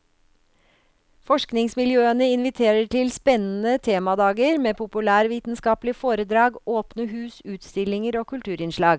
Forskningsmiljøene inviterer til spennende temadager med populærvitenskapelige foredrag, åpne hus, utstillinger og kulturinnslag.